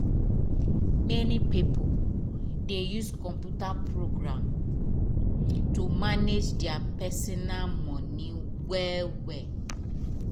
many pipo dey use computer program to manage deir personal moni well well